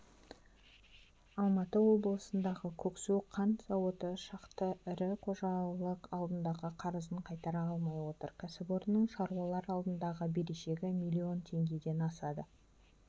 алматы облысындағы көксу қант зауыты шақты ірі қожалық алдындағы қарызын қайтара алмай отыр кәсіпорынның шаруалар алдындағы берешегі миллион теңгеден асады